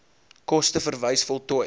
koste verwys voltooi